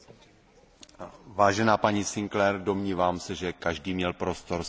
Vážená paní Sinclaire, domnívám se, že každý měl prostor se vyjádřit.